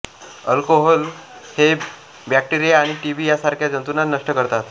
alcohol हे bacteria आणि TB या सारख्या जंतूंना नष्ट करतात